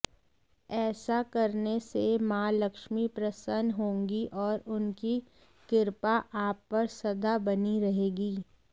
ऐसा करने से मां लक्ष्मी प्रसन्न होंगी और उनकी कृपा आप पर सदा बनी रहेगी